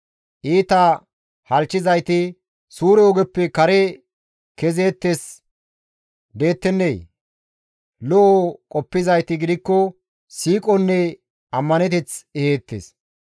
Iita halchchizayti suure ogeppe kare kezeettes dettenee? Lo7o qoppizayti gidikko siiqonne ammaneteth eheettes.